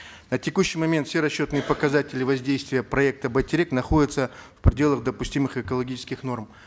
на текущий момент все расчетные показатели воздействия проекта байтерек находятся в пределах допустимых экологических норм